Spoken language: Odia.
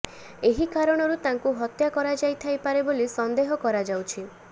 ଏହି କାରଣରୁ ତାଙ୍କୁ ହତ୍ୟା କରାଯାଇଥାଇପାରେ ବୋଲି ସନ୍ଦେହ କରାଯାଉଛି